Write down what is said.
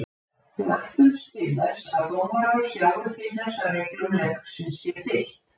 Við ætlumst til þess að dómarar sjái til þess að reglum leiksins sé fylgt.